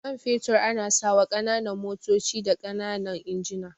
Man fetur ana sawa ƙananan motoci da ƙananan injina.